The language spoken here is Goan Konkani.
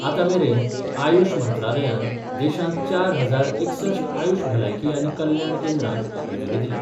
आतां मेरेन आयुष मंत्रालयान देशांत चार हजार एकसष्ठ आयुष भलायकी आनी कल्याण केंद्रांक मंजुरी दिल्या.